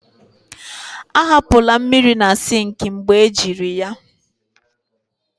ahapụla mmiri na sink mgbe ejiri ya